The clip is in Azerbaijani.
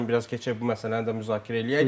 İstəyirəm biraz keçək bu məsələni də müzakirə eləyək.